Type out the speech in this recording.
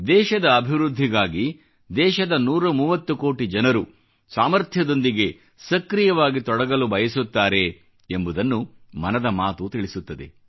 ದೇಶದ ಅಭಿವೃದ್ಧಿಗಾಗಿ ದೇಶದ 130 ಕೋಟಿ ಜನರು ಸಾಮರ್ಥ್ಯಥ್ರ್ಯದೊಂದಿಗೆ ಸಕ್ರಿಯವಾಗಿ ತೊಡಗಲು ಬಯಸುತ್ತಾರೆ ಎಂಬುದನ್ನು ಮನದ ಮಾತು ತಿಳಿಸುತ್ತದೆ